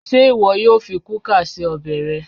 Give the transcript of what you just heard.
Ṣé ìwọ yóò fi kúkà se ọbẹ̀ re